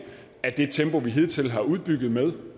af det tempo vi hidtil har udbygget med